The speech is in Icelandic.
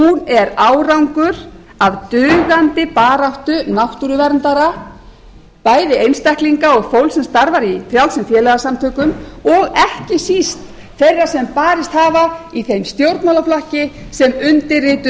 er árangur að dugandi baráttu náttúruverndara bæði einstaklinga og fólks sem starfar í frjálsum félagasamtökum og ekki síst þeirra sem barist hafa í þeim stjórnmálaflokki sem undirrituð